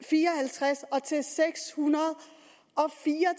og fem til seks hundrede og fire